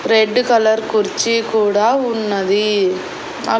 Red colour కుర్చీ కూడా ఉన్నది.